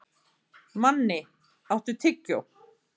Manni, áttu tyggjó?